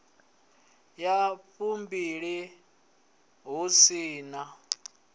ya fumbilimbili hu si na